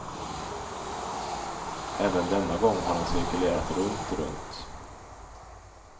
Även denna gång har han cirkulerat runt, runt.